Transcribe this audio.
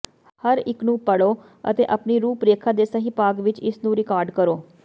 ਹਰ ਇੱਕ ਨੂੰ ਪੜ੍ਹੋ ਅਤੇ ਆਪਣੀ ਰੂਪਰੇਖਾ ਦੇ ਸਹੀ ਭਾਗ ਵਿੱਚ ਇਸ ਨੂੰ ਰਿਕਾਰਡ ਕਰੋ